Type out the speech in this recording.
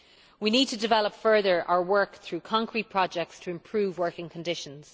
We need to develop further our work through concrete projects to improve working conditions.